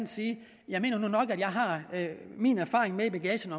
jeg nu nok mener at jeg har min erfaring med i bagagen